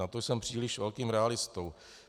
Na to jsem příliš velkým realistou.